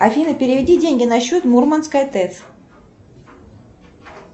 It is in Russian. афина переведи деньги на счет мурманская тэц